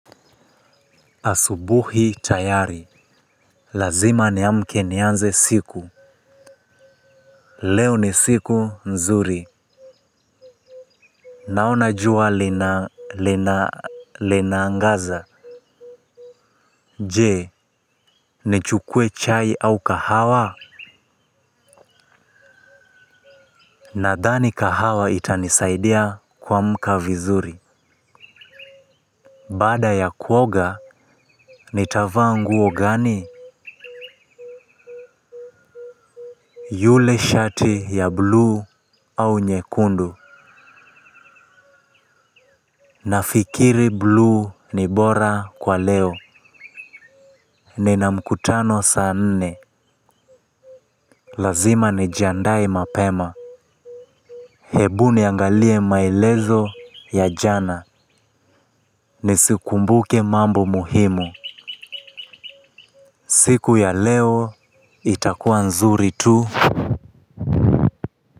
Asubuhi tayari. Lazima niamke nianze siku. Leo ni siku nzuri. Naona jua linaangaza. Je, nichukue chai au kahawa? Nadhani kahawa itanisaidia kuamka vizuri. Bada ya kuoga, nitavaa nguo gani? Yule shati ya blue au nyekundu nafikiri blue ni bora kwa leo. Nina mkutano saa nne. Lazima nijiandae mapema. Hebu niangalie maelezo ya jana. Nisikumbuke mambo muhimu. Siku ya leo itakua nzuri tu.